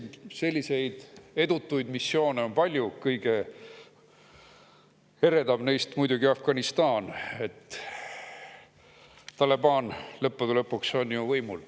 Ja selliseid edutuid missioone on palju, kõige eredam neist muidugi Afganistan, Taliban on ju lõppude lõpuks võimul.